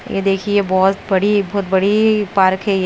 ये देखिए बहुत बड़ी एक बहुत बड़ी पार्क है ये।